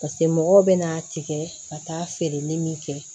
pase mɔgɔw bɛna tigɛ ka taa feereli min kɛ